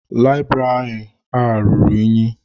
Layibiri a rụrụ ụnyi.